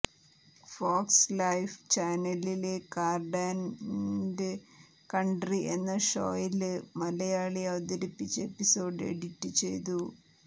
Fox Life ചാനലില് Car and Country എന്ന ഷോയില് മലയാളി അവതരിപ്പിച്ച എപ്പിസോഡ് എഡിറ്റ് ചെയ്തു